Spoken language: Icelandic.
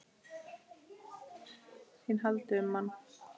ÞÍN HALDI UM MANN!